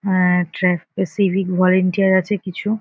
হ্যাঁ ট্রাক পে civic volunteer আছে কিছু।